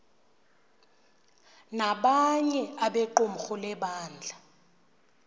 nabanye abequmrhu lebandla